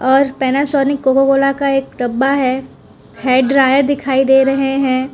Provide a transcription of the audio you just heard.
और Panasonic Coca Cola का एक डब्बा है हेयर ड्रायर दिखाई दे रहे हैं।